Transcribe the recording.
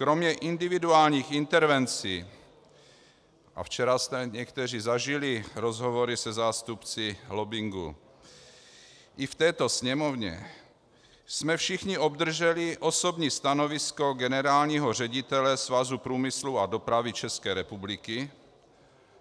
Kromě individuálních intervencí, a včera jste někteří zažili rozhovory se zástupci lobbingu i v této Sněmovně, jsme všichni obdrželi osobní stanovisko generálního ředitele Svazu průmyslu a dopravy České republiky,